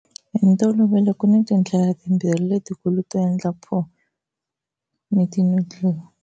Hi ntolovelo ku ni tindlela timbirhi letikulu to endla pho, vermicelli, vermicelli ni ti-noodle.